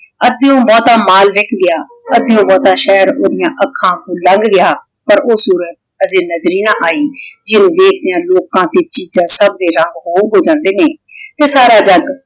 ਅਧਿਯੋੰ ਬੋਹ੍ਤਾਂ ਮਾਲ ਵਿਕ ਗਯਾ ਅਧਿਯੋੰ ਬੋਹ੍ਤਾਂ ਸ਼ੇਹਰ ਓਹ੍ਦਿਯਾਂ ਆਖਾਂ ਅਗੋਂ ਲਾੰਗ ਗਯਾ ਪਰ ਊ ਸੂਰਤ ਹਾਜੀ ਨਜ਼ਰ ਈ ਨਾ ਆਈ ਜਿਨੋਂ ਦੇਖ੍ਦਿਯਾਂ ਲੋਕਾਂ ਡਿਯਨ ਚੀਜ਼ਾਂ ਸਬ ਦੇ ਰਾਹ ਖੋਲਦੇ ਜਾਂਦੇ ਨੇ ਤੇ ਸਾਰਾ ਜਾਗ